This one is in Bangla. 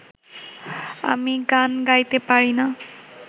আমি গান গাইতে পারি না